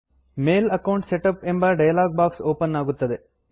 ಮೇಲ್ account setup ಎಂಬ dialog box open ಆಗುತ್ತದೆ